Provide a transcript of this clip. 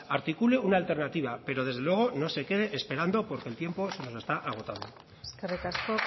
articule una alternativa pero desde luego no se quede esperando porque el tiempo se nos está agotando eskerrik asko